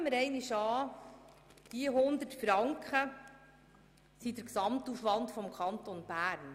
Nehmen wir einmal an, diese 100 Franken wären der Gesamtaufwand des Kantons Bern.